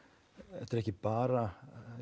þetta er ekki bara